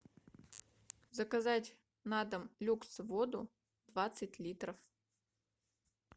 заказать на дом люкс воду двадцать литров